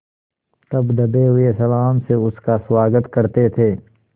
तब दबे हुए सलाम से उसका स्वागत करते थे